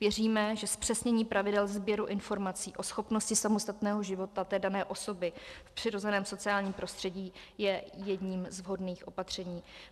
Věříme, že zpřesnění pravidel sběru informací o schopnosti samostatného života té dané osoby v přirozeném sociálním prostředí je jedním z vhodných opatření.